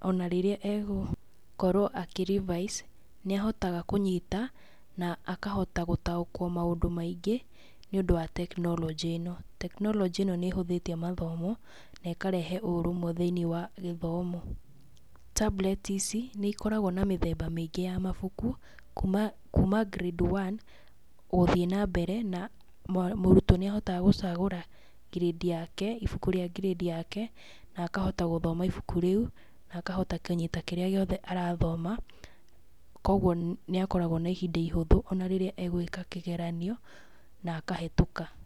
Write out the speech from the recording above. Ona rĩrĩa egũkorwo akĩ revise, nĩ ahotaga kũnyita, na akohota gũtaũkwo maũndũ maingĩ, nĩũndũ wa tekinoronjĩ ĩno. Tekinoronjĩ nĩ ĩhũthĩtie mathomo na ĩkareha ũrũmwe thĩinĩ wa gĩthomo. Tablets ici nĩ ikoragwo na mĩthemba mĩingĩ ya mabuku kuuma kuuma grade one gũthiĩ na mbere, na mũrutwo nĩ ahotaga gũcagũra ngirĩndi yake, ibuku rĩa ngirĩndi yake, na akahota gũthoma ibuku rĩu, na akahota kũnyita kĩrĩa gĩothe arathoma, koguo nĩ akoragwo na ihinda ihũthũ ona rĩrĩa egwĩka kĩgeranio na akahĩtũka.